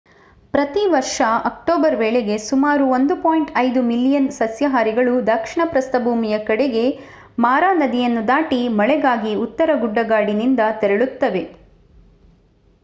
ಪ್ರತಿ ವರ್ಷ ಅಕ್ಟೋಬರ್ ವೇಳೆಗೆ ಸುಮಾರು 1.5 ಮಿಲಿಯನ್ ಸಸ್ಯಾಹಾರಿಗಳು ದಕ್ಷಿಣ ಪ್ರಸ್ಥಭೂಮಿಯ ಕಡೆಗೆ ಮಾರಾ ನದಿಯನ್ನು ದಾಟಿ ಮಳೆಗಾಗಿ ಉತ್ತರ ಗುಡ್ಡಗಾಡಿನಿಂದ ತೆರಳುತ್ತವೆ